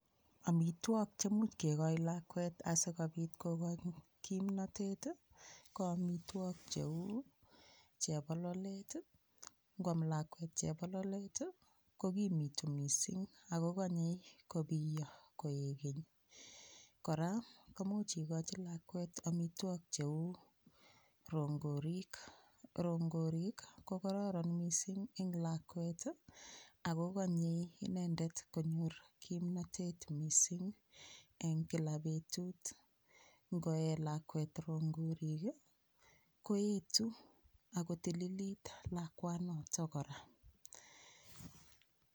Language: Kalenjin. Omitwok chemuch kekoch lakwet asikobit kokoch kimnatet ko omitwok cheu chebololet ngoam lakwet chebololet kokimitu mising akokonyei kobiyo koekeny kora komuch ikochi lakwet omitwok cheu rongorik rongorik kororon mising eng lakwet akokonyei inendet konyor kimnotet mising eng Kila betut ngoee lakwet rongorik koetu akotililit lakwanoto kora